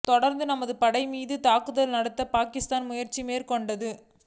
தொடர்ந்து நமது படைகள் மீது தாக்குதல் நடத்தப் பாகிஸ்தான் முயற்சி மேற்கொண்டது